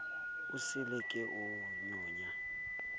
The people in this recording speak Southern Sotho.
esele ke a o nyonya